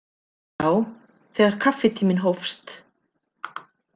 Já, þegar kaffitíminn hófst.